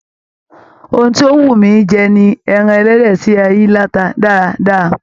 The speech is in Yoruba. Òhun tó n wú mí jẹ ní ẹran ẹlẹdẹ tí a yìí lata dáadáa.